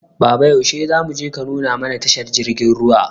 Baba yaushe zamuje ka nuna mana tashar jirgin ruwa?